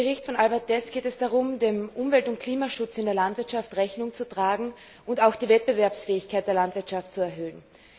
Im Bericht von Albert Deß geht es darum, dem Umwelt und Klimaschutz in der Landwirtschaft Rechnung zu tragen und auch die Wettbewerbsfähigkeit der Landwirtschaft zu erhöhen.